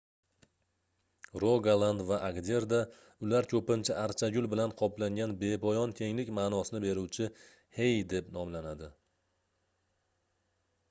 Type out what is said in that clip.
rogaland va agderda ular koʻpincha archagul bilan qoplangan bepoyon kenglik maʼnosini beruvchi hei deb nomlanadi